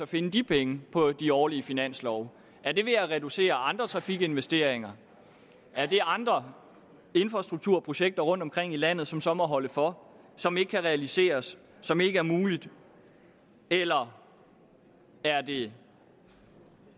finde de penge på de årlige finanslove er det ved at reducere andre trafikinvesteringer er det andre infrastrukturprojekter rundtomkring i landet som så må holde for som ikke kan realiseres som ikke er mulige eller er det